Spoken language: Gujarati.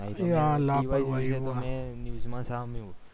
news માં સામયુ